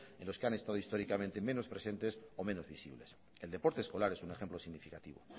en los que han estado históricamente menos presentes o menos visibles el deporte escolar en un ejemplo significativo